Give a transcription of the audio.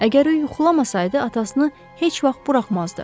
Əgər o yuxlamasaydı, atasını heç vaxt buraxmazdı.